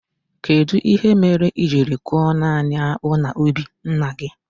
Kedụ ihe mere i jiri koo naanị akpụ na ubi ńnà gị?